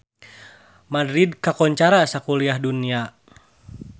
Madrid kakoncara sakuliah dunya